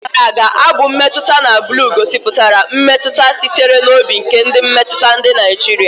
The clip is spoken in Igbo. N'oge gara aga, abụ mmetụta na blu gosipụtara mmetụta sitere n'obi nke na-emetụta ndị Naijiria.